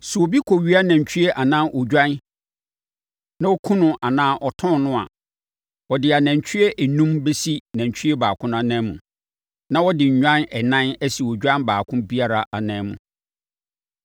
“Sɛ obi kɔwia nantwie anaa odwan na ɔkum no anaa ɔtɔn no a, ɔde anantwie enum bɛsi nantwie baako ananmu. Na ɔde nnwan ɛnan asi odwan baako biara ananmu.